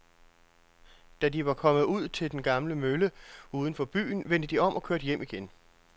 Da de var kommet ud til den gamle mølle uden for byen, vendte de om og kørte hjem igen.